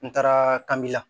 N taara kabi la